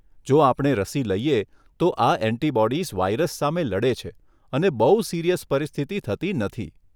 જો આપણે રસી લઈએ તો આ ઍન્ટિબોડીઝ વાઇરસ સામે લડે છે અને બહુ સિરીયસ પરિસ્થિતિ થતી નથી.